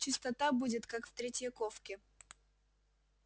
чистота будет как в третьяковке